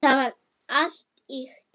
Það var allt ýkt.